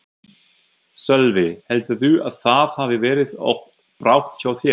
Sölvi: Heldurðu að það hafi verið of bratt hjá þér?